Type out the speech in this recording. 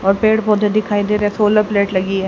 और पेड़ पौधे दिखाई दे रहे सोलर प्लेट लगी है।